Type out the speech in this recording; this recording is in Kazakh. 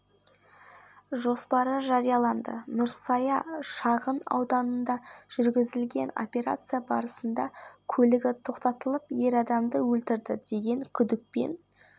қазанда қазақстан спорт сарайының көліктер тұрағында тауар өндірушілерінің жәрмеңкесі өтеді деп хабарлайды елорда әкімідігінің медиа орталығы